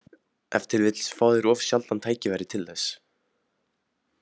Ef til vill fá þeir of sjaldan tækifæri til þess.